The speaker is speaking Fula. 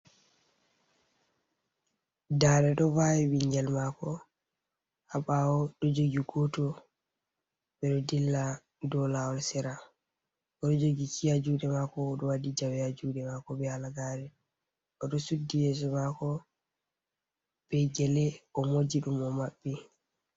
Dada ɗo vawi ɓingel mako ha ɓawo ɗo jogi goto, ɓeɗo dilla dow lawol sira, oɗo jogi kie ha juɗe mako, oɗo waɗi jawe ha juɗe mako be halagare, oɗo suddi yeso mako be gele o moji ɗum o maɓɓi.